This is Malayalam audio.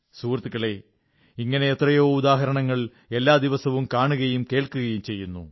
സുഹൃത്തുക്കളേ ഇങ്ങനെ എത്രയോ ഉദാഹരണങ്ങൾ എല്ലാ ദിവസവും കാണുകയും കേൾക്കുകയും ചെയ്യുന്നു